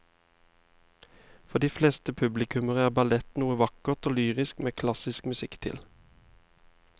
For de fleste publikummere er ballett noe vakkert og lyrisk med klassisk musikk til.